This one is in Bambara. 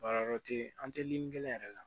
Baarayɔrɔ tɛ yen an tɛ lili kɛ yɛrɛ la